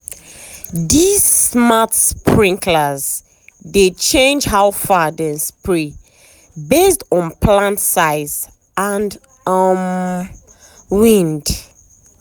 these smart sprinklers dey change how far dem spray based on plant size and um wind.